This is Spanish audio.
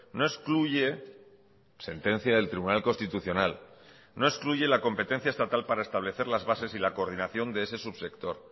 no excluye sentencia del tribunal constitucional no excluye la competencia estatal para establecer las bases y la coordinación de ese subsector